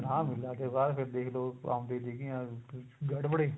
ਰਾਮ ਲੀਲਾ ਤੋਂ ਬਾਅਦ ਫੇਰ ਦੇਖ ਲੋ ਆਉਂਦੀ ਸੀਗੀਆ ਗੜਵੜੇ